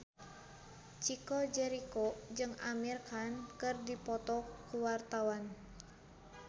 Chico Jericho jeung Amir Khan keur dipoto ku wartawan